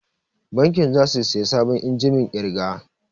Bankin za su saya sabon injimin ƙirga